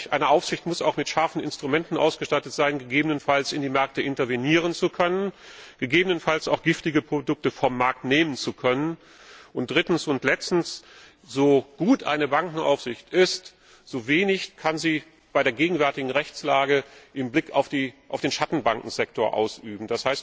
Eine Aufsicht muss auch mit scharfen Instrumenten ausgestattet sein, um gegebenenfalls in die Märkte intervenieren zu können, gegebenenfalls auch giftige Produkte vom Markt nehmen zu können. Drittens und letztens So gut eine Bankenaufsicht ist, so wenig kann sie bei der gegenwärtigen Rechtslage im Hinblick auf den Schattenbankensektor tun.